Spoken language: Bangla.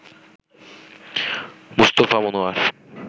মুস্তাফা মনোয়ার